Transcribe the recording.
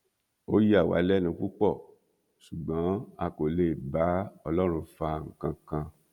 ó yà wá lẹnu púpọ ṣùgbọn a kò lè bá ọlọrun fa nǹkan kan